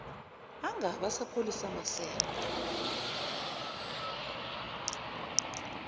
angabe esapholisa maseko